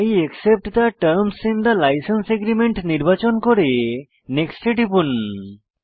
I accept the terms in the license agreement নির্বাচন করে next এ টিপুন